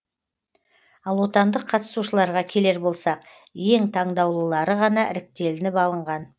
ал отандық қатысушыларға келер болсақ ең таңдаулылары ғана іріктелініп алынған